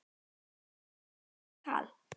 Finnst þér það rétt tala?